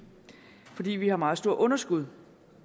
fordi vi har et meget stort underskud